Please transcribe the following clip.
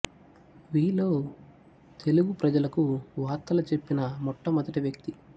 వి లో తెలుగు ప్రజలకు వార్తలు చెప్పిన మొట్ట మొదటి వ్యక్తి